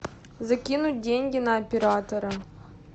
закинуть деньги на оператора